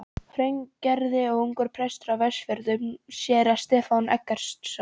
Hraungerði og ungur prestur á Vestfjörðum, séra Stefán Eggertsson.